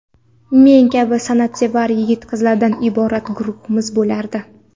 Men kabi san’atsevar yigit-qizlardan iborat guruhimiz bo‘lardi.